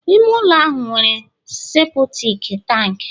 ime ụlọ ahụ nwere seputik tanki